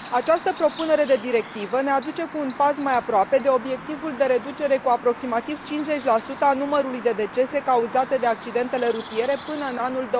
Această propunere de directivă ne aduce cu un pas mai aproape de obiectivul de reducere cu aproximativ 50 a numărului de decese cauzate de accidentele rutiere până în anul